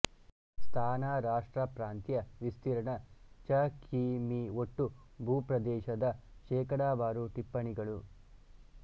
ಸ್ಥಾನರಾಷ್ಟ್ರ ಪ್ರಾಂತ್ಯವಿಸ್ತೀರ್ಣ ಚ ಕಿ ಮೀ ಒಟ್ಟು ಭೂಪ್ರದೇಶದ ಶೇಕಡಾವಾರುಟಿಪ್ಪಣಿಗಳು